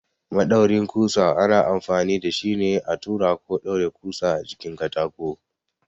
Maɗaurin ƙusa ana amfani da shi ne a tura ko ɗaure ƙusa a jikin katako.